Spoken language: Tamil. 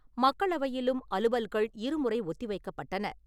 மக்களவையிலும் அலுவல்கள் இருமுறை ஒத்திவைக்கப் பட்டன.